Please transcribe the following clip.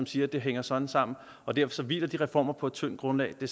siger at det hænger sådan sammen og derfor hviler de reformer på et tyndt grundlag det